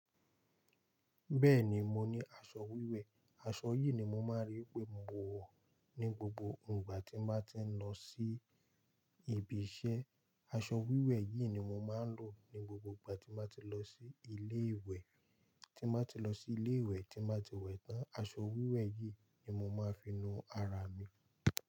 Bẹ́ẹ̀ni, mo ní aṣọ wíwẹ̀. Aṣọ yìí ni mo máa ń rí pé mo wọ̀ ní gbogbo ìgbà tí máa ti ń lọ sí ibi iṣẹ́. Aṣọ wíwẹ̀ yìí ni mo máa ń lò ní gbogbo ìgbà tí màá ti lọ sí ilé ìwẹ̀. Tí màá ti lọ sí ilé ìwẹ̀, tí màá ti wẹ̀ tán, aṣọ wíwẹ̀ yìí ni mo máa finu ara mi.